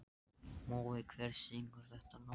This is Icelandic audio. Mói, hver syngur þetta lag?